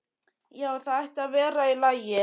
Já, það ætti að vera í lagi.